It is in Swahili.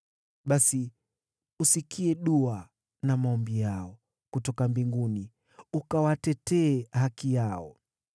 basi usikie dua na maombi yao kutoka mbinguni, ukawatetee haki yao.